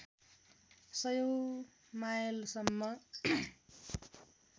सयौँ मायलसम्म